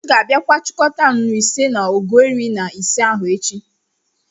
M'gābia kwa chikọta nnù ise na ọgu iri-na-ise ahu echi.